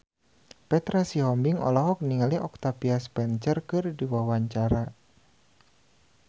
Petra Sihombing olohok ningali Octavia Spencer keur diwawancara